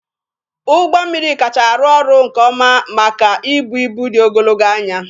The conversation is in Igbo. Ụgbọ mmiri kacha arụ ọrụ nke ọma maka ibu ibu dị ogologo anya.